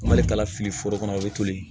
Mali kalafili foro kɔnɔ o ye toli